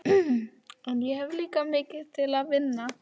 En ég hef líka til mikils að vinna.